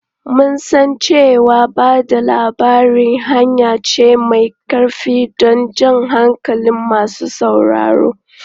Mun san cewa ba da labari hanya ce mai ƙarfi don jan hankalin masu sauraro.